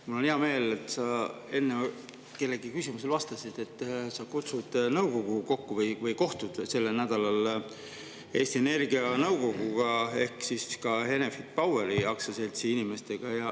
Mul on hea meel, et sa enne kellegi küsimusele vastates ütlesid, et sa kutsud nõukogu kokku või et te kohtute sellel nädalal Eesti Energia nõukoguga ehk siis ka Enefit Poweri aktsiaseltsi inimestega.